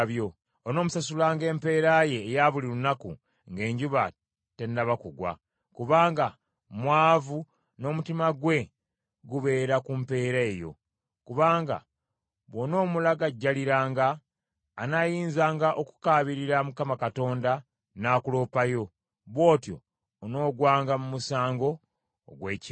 Onoomusasulanga empeera ye eya buli lunaku ng’enjuba tennaba kugwa, kubanga mwavu n’omutima gwe gubeera ku mpeera eyo. Kubanga bw’onoomulagajjaliranga, anaayinzanga okukaabirira Mukama Katonda n’akuloopayo, bw’otyo onoogwanga mu musango ogw’ekibi.